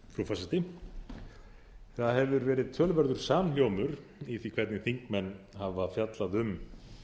frú forseti það hefur verið töluverður samhljómur í því hvernig þingmenn hafa fjallað um